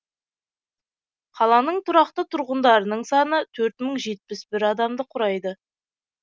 қаланың тұрақты тұрғындарының саны төрт мың жетпіс бір адамды құрайды